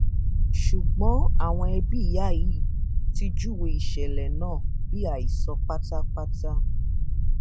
ṣùgbọn àwọn ẹbí ìyá yìí ti júwe ìṣẹlẹ náà bíi àhesọ pátápátá